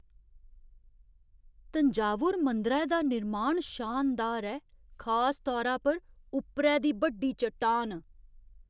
तंजावुर मंदरै दा निर्माण शानदार ऐ, खास तौरा पर उप्परै दी बड्डी चट्टान।